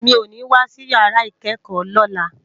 Mi ó ni wásí iyàrá ikèékò lòlá